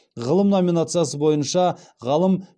ғылым номинациясы бойынша ғалым